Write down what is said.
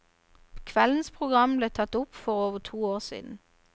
Kveldens program ble tatt opp for over to år siden.